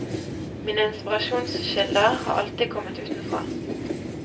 Mine inspirasjonskilder har alltid kommet utenfra.